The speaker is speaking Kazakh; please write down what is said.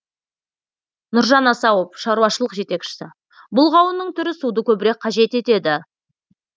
нұржан асауов шаруашылық жетекшісі бұл қауынның түрі суды көбірек қажет етеді